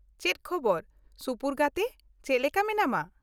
ᱪᱮᱫ ᱠᱷᱚᱵᱚᱨ ᱥᱩᱯᱩᱨ ᱜᱟᱛᱮ ,ᱪᱮᱫ ᱞᱮᱠᱟ ᱢᱮᱱᱟᱢᱟ?